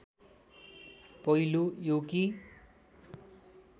पहिलो यो कि